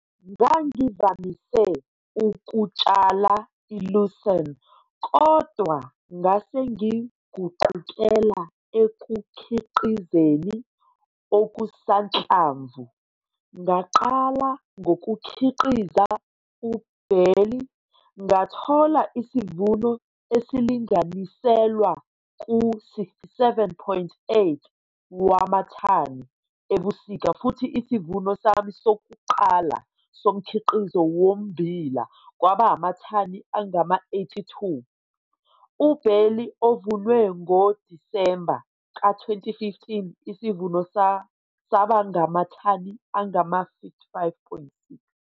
Ngangivamise ukutshala i-lucerne kodwa ngase ngiguqukela ekukhiqizeni okusanhlamvu. Ngaqala ngokukhiqiza u-barley ngathola isivuno esilinganiselwa ku-67,8 wamathani ebusika futhi isivuno sami sokuqala somkhiqizo wommbila kwaba amathani angama-82. u-barley ovunwe ngoDisemba ka-2015 isivuno saba ngamathani angama-55,6.